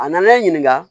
A nana e ɲininka